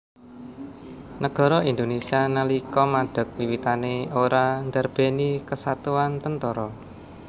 Nagara Indonésia nalika madeg wiwitané ora ndarbèni kesatuan tentara